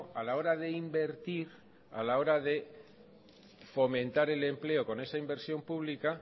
a la hora de invertir a la hora de fomentar el empleo con esa inversión pública